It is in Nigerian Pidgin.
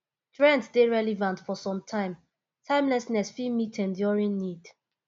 trends de dey relevant for some time timelessness fit meet enduring need